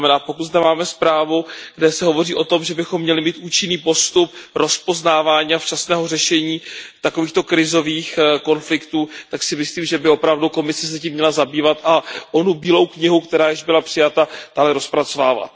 To znamená, pokud zde máme zprávu, kde se hovoří o tom, že bychom měli mít účinný postup rozpoznávání a včasného řešení takovýchto krizových konfliktů, tak si myslím, že by se tím Komise opravdu měla zabývat a onu Bílou knihu, která již byla přijata, dále rozpracovávat.